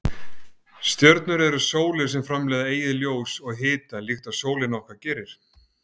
Stjörnur eru sólir sem framleiða eigið ljós og hita líkt og sólin okkar gerir.